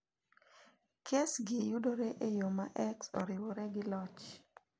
Kes gi yudore e yo ma X oriwre gi loch.